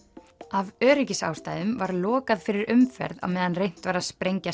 af öryggisástæðum var lokað fyrir umferð á meðan reynt var að sprengja